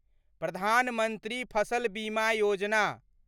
प्रधान मंत्री फसल बीमा योजना